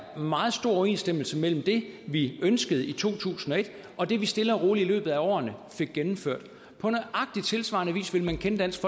meget stor overensstemmelse mellem det vi ønskede i to tusind og et og det vi stille og roligt i løbet af årene fik gennemført på nøjagtig tilsvarende vis vil man kende dansk